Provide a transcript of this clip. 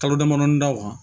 Kalo damadɔ da o kan